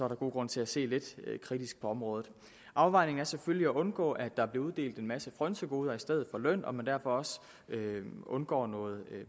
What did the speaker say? der god grund til at se lidt kritisk på området afvejningen er selvfølgelig at undgå at der bliver uddelt en masse frynsegoder i stedet for løn så man derfor også undgår noget